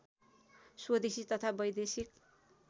स्वदेशी तथा वैदेशिक